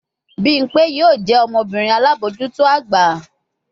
Bimpe yoo jẹ ọmọbirin alabojuto agba